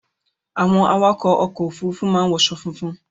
Àwọn awakọ̀ ọkọ Òfurufú máa ń wọṣọ funfun